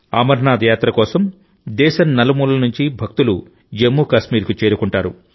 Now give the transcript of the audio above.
అమర్నాథ్ యాత్ర కోసం దేశం నలుమూలల నుంచి భక్తులు జమ్మూ కాశ్మీర్కు చేరుకుంటారు